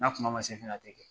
N'a kuma man se fɛnɛ a tɛ kɛ.